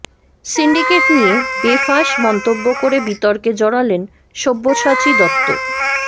syndicate নিয়ে বেফাঁস মন্তব্য করে বিতর্কে জড়ালেন সব্যসাচী দত্ত